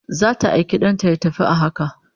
Zata aiki dan ta ya tafi a haka